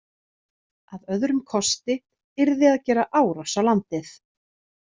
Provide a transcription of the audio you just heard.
Að öðrum kosti yrði að gera árás á landið.